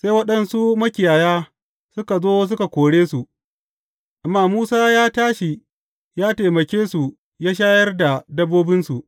Sai waɗansu makiyaya suka zo suka kore su, amma Musa ya tashi ya taimake su ya shayar da dabbobinsu.